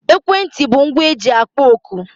Ekwentị bụ ngwa e ji akpọ oku